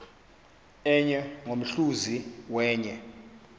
enye ngomhluzi wenye